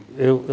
Eu.